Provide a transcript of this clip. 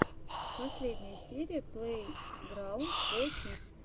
последняя серия плейграунд фо кидс